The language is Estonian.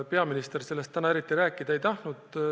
Peaminister sellest täna eriti rääkida ei tahtnud.